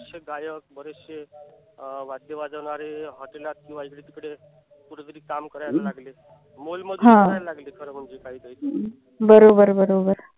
अशे गायक बरेचशे वाद्य वाजवणारे hotel त किंवा इकडे तिकडे कुठेतरी काम करू लागले. मोलमजुरी करायला लागले. खर म्हणजे काही काही